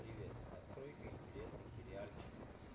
привет открой-ка интересный сериальчик